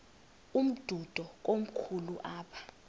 umdudo komkhulu apha